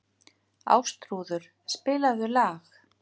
Ástþrúður, spilaðu lag.